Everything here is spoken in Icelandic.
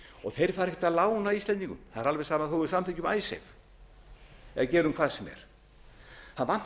fara ekkert að lána íslendingum það er alveg sama þó við samþykkjum icesave eða gerum hvað sem er það